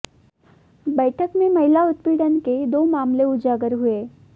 बैठक में महिला उत्पीड़न के दो मामले उजागर हुए